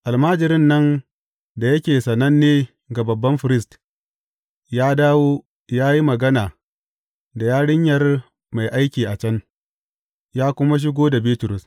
Almajirin nan da yake sananne ga babban firist, ya dawo ya yi magana da yarinyar mai aiki a can, ya kuma shigo da Bitrus.